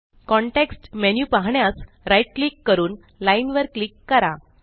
context menu पाहण्यासRight click करून line वर क्लिक करा